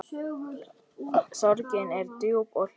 Sorgin er djúp og hljóð.